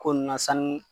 Ko nun na sanu